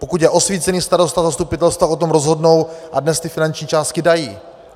Pokud je osvícený starosta, zastupitelstva o tom rozhodnou a dnes ty finanční částky dají.